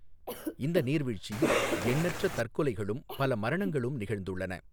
இந்த நீர்வீழ்ச்சியில் எண்ணற்ற தற்கொலைகளும் பல மரணங்களும் நிகழ்ந்துள்ளன.